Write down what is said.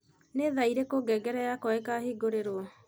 Nĩ thaa irĩkũ ngengere yakwa ikahingũrirũo